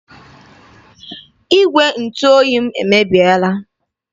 Igwe ntụ oyi m emebiela.